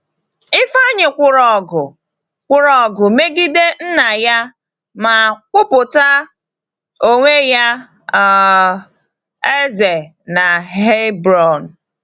Ifeanyi kwụrụ ọgụ kwụrụ ọgụ megide nna ya ma kwupụta onwe ya um eze na Hebron.